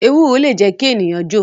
Ewúro le jẹ́ kí ènìyàn jo